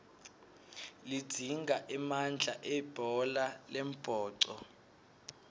lidzinga emandla libhola lembhoco